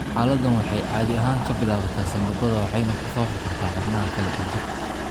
Xaaladdan waxay caadi ahaan ka bilaabataa sambabada waxayna ku faafi kartaa xubnaha kale ee jirka.